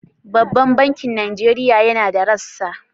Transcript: Babban bankin Nigeria yana da rassa?